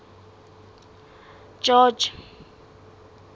george